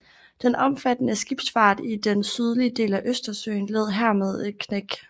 Den omfattende skibsfart i den sydlige del af Østersøen led hermed et knæk